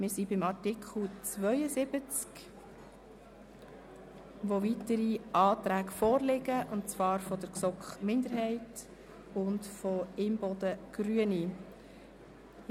Wir stehen bei Artikel 72, zu welchem weitere Anträge der GSoK-Minderheit sowie von Grossrätin Imboden/Grüne vorliegen.